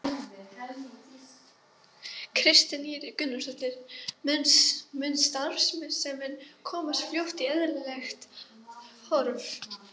Kristín Ýr Gunnarsdóttir: Mun starfsemin komast fljótt í eðlilegt horf?